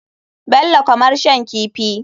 Bello kamar shan kifi.